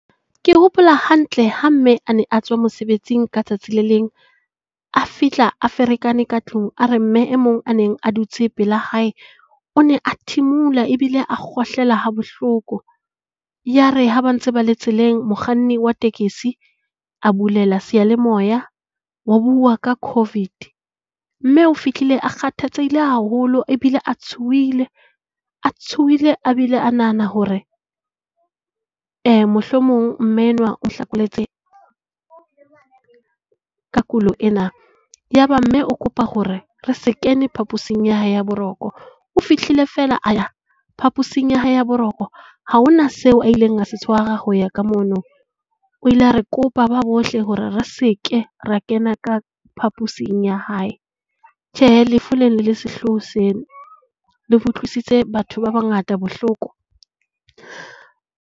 Ke hopola hantle ha mme a ne a tswa mosebetsing ka tsatsi le leng a fihla a ferekane ka tlung a re mme e mong a neng a dutse pela hae, o ne a thimula ebile a kgohlela ha bohloko. Yare ha ba ntse ba le tseleng, mokganni wa tekesi a bulela seyalemoya ho buwa ka COVID. Mme o fihlile a kgathatsehile haholo ebile a tshohile a tshohile a bile a nahana hore e mohlomong mme enwa o hlokometse ka kulo ena. Ya ba mme o kopa hore re se kene phaposing ya hao ya boroko. O fihlile fela a ya phaposing ya hae ya boroko. Ha hona seo a ileng a se tshwara ho ya ka mono. O ile a re kopa ba bohle hore re se ke ra kena ka phaposing ya hae. Tjhe. lefu lena le sehlooho sena. Le utlwisitse batho ba bangata bohloko.